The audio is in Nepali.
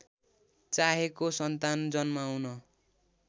चाहेको सन्तान जन्माउन